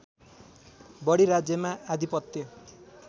बढी राज्यमा आधिपत्य